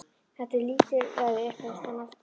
Þetta er lítilræði upphefst hann aftur.